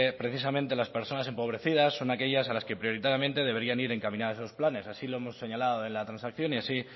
precisamente las personas empobrecidas son aquellas a las que prioritariamente deberían ir encaminadas esos planes así lo hemos señalado en la transacción y así